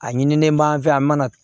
A ɲinilen b'an fɛ yan an mana